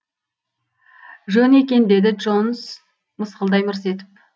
жөн екен деді джонс мысқылдай мырс етіп